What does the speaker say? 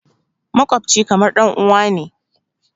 Maƙwabci kamar ɗanuwa ne.